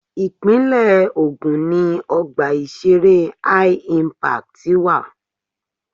Ìpínlẹ̀ Ògùn ni Ọgbà ìṣeré HI-Impact wà.